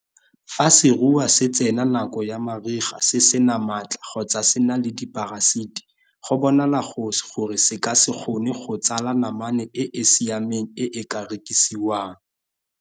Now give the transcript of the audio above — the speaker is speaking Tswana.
Fa seruiwa se tsena nako ya mariga se se na maatla kgotsa se na le diparasiti, go bonala gore se ka se kgone go tsala namane e e siameng e e ka rekisiwang.